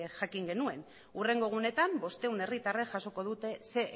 jakin genuen hurrengo egunetan bostehun herritarrek jasoko dute ehun